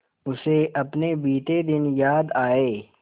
उसे अपने बीते दिन याद आए